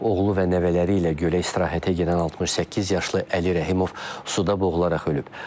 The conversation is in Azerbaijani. Oğlu və nəvələri ilə gölə istirahətə gedən 68 yaşlı Əli Rəhimov suda boğularaq ölüb.